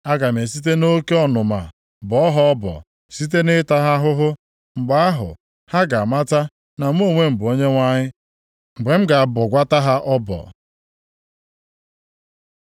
Aga m esite nʼoke ọnụma bọọ ha ọbọ site na ịta ha ahụhụ. Mgbe ahụ ha ga-amata na mụ onwe m bụ Onyenwe anyị, mgbe m ga-abọgwata ha ọbọ.’ ”